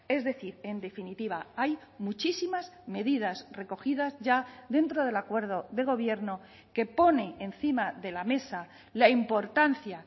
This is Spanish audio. es decir en definitiva hay muchísimas medidas recogidas ya dentro del acuerdo de gobierno que pone encima de la mesa la importancia